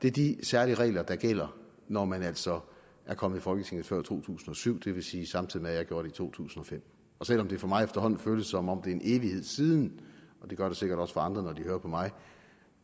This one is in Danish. er de særlige regler der gælder når man altså er kommet i folketinget før to tusind og syv det vil sige samtidig med at jeg gjorde det i to tusind og fem og selv om det for mig efterhånden føles som om det er en evighed siden og det gør det sikkert også for andre når de hører på mig